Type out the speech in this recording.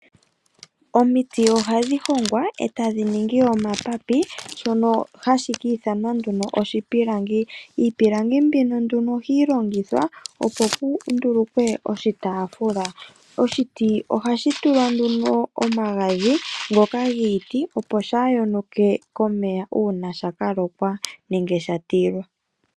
Omiti ohadhi hongwa e tadhi ningi omapapi, shono hashi ka ithanwa nduno oshipilangi. Iipilangi mbino nduno ohayi longithwa opo pu ndulukwe oshitafula. oshiti ohashi tulwa nduno omagadhi ngoka giiti, opo kashi yonuke komeya uuna sha ka lokwa, nenge sha tilwa.